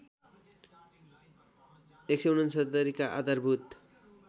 १६९ का आधारभूत